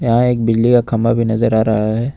यहां एक बिजली का खंबा भी नजर आ रहा है।